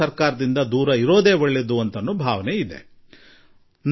ಸರ್ಕಾರದಿಂದ ದೂರವಿರುವುದು ಹೆಚ್ಚು ಒಳ್ಳೆಯದು ಎಂದು ಭಾವಿಸುವ ಪೀಳಿಗೆಯೊಂದಿದೆ